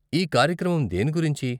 ఈ కార్యక్రమం దేని గురించి?